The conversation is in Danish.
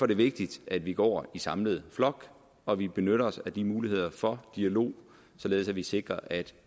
det vigtigt at vi går i samlet flok og vi benytter os af de muligheder for dialog således at vi sikrer at